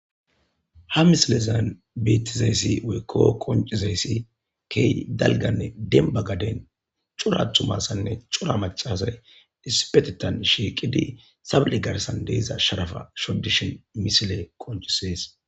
Ha misilezan bettizayssi wekko qoncizayssi key dalganne denbagaden curathumasanne cura macasay isipetetan shiiqidi sable garsan deeza sharafa shodishin misile qoncisees.